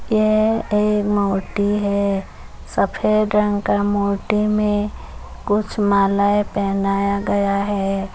यह एक मूर्ति है सफ़ेद रंग का मूर्ति में कुछ मालाऐं पहनाया गया है।